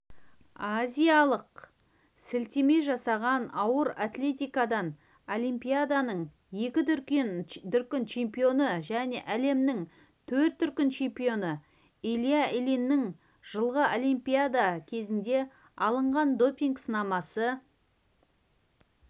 азиялық сілтеме жасаған ауыр атлетикадан олимпиаданың екі дүркін чемпионы және әлемнің төрт дүркін чемпионы илья ильиннің жылғы олимпиада кезінде алынған допинг-сынамасы